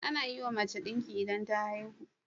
Anayiwa mace dinki idan ta haihu